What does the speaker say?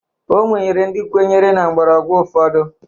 O nwere ndị kwenyere na mgbọrọgwụ ụfọdụ